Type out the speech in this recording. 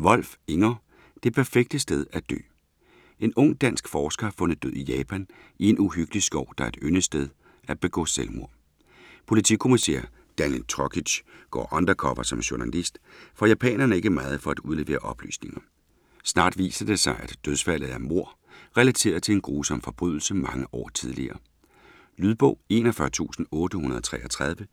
Wolf, Inger: Det perfekte sted at dø En ung, dansk forsker er fundet død i Japan, i en uhyggelig skov, der er et yndet sted at begå selvmord. Politikommissær Daniel Trokic går undercover som journalist, for japanerne er ikke meget for at udlevere oplysninger. Snart viser det sig, at dødsfaldet er mord, relateret til en grusom forbrydelse mange år tidligere. Lydbog 41833